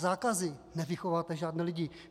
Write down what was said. Zákazy nevychováte žádné lidi.